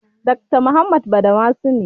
Dakta Muhammad Badamasi ne.